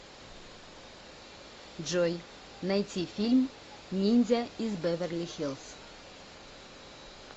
джой найти фильм ниндзя из беверли хиллз